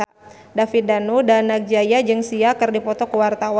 David Danu Danangjaya jeung Sia keur dipoto ku wartawan